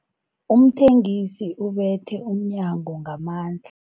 Umthengisi ubethe umnyango ngamandla.